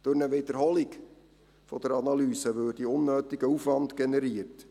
Durch eine Wiederholung der Analyse würde unnötiger Aufwand generiert.